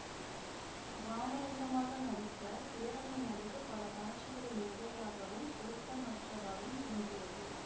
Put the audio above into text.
ராமலிங்கமாக நடித்த சேரனின் நடிப்பு பல காட்சிகளில் மிகையாகவும் பொருத்தமற்றதாகவும் தோன்றியது